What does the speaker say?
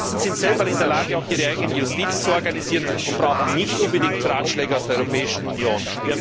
Die Russen sind selbst in der Lage, ihre eigene Justiz zu organisieren, und brauchen nicht unbedingt Ratschläge aus der Europäischen Union.